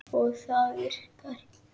Og það virkar.